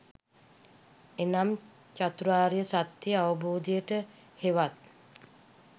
එනම් චතුරාර්ය සත්‍ය අවබෝධයට, හෙවත්